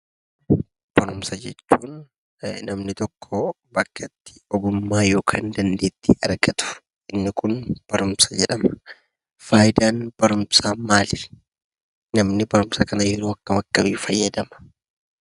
Barumsa jechuun namni tokkoo bakka itti ogummaa yokaan dandeettii argatu inni kun barumsa jedhama. Faayidaan barumsaa maali? Namni barumsa kana yeroo akkam akkamii fayyadama?